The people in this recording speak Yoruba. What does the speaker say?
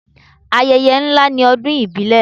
Ayẹyẹ ńlá ni ọdún ìbílẹ̀.